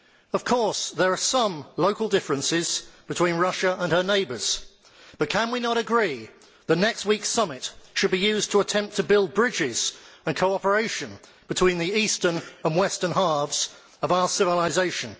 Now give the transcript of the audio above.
Of course, there are some local differences between Russia and her neighbours, but can we not agree that next week's summit should be used to attempt to build bridges and cooperation between the eastern and western halves of our civilisation?